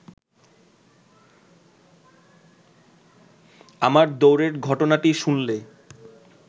আমার দৌড়ের ঘটনাটি শুনলে